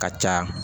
Ka caya